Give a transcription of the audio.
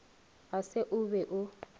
ga se o be o